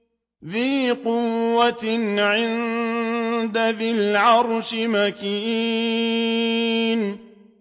ذِي قُوَّةٍ عِندَ ذِي الْعَرْشِ مَكِينٍ